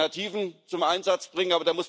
Wir müssen Alternativen zum Einsatz bringen.